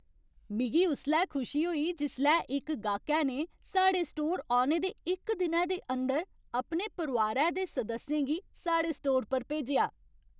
मिगी उसलै खुशी होई जिसलै इक गाह्कै ने साढ़े स्टोर औने दे इक दिनै दे अंदर अपने परोआरै दे सदस्यें गी साढ़े स्टोर पर भेजेआ।